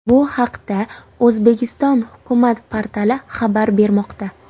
Bu haqda O‘zbekiston hukumat portali xabar bermoqda .